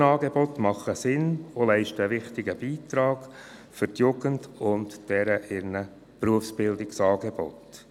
Die Brückenangebote machen Sinn und leisten einen wichtigen Beitrag für die Jugend und deren Berufsbildungsangebote.